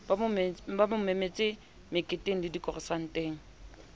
ba mo memetse meketengle dikonsareteng